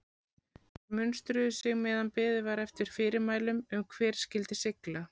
Þeir munstruðu sig meðan beðið var eftir fyrirmælum um hvert skyldi sigla.